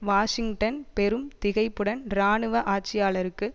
Washington பெரும் திகைப்புடன் இராணுவ ஆட்சியாளருக்கு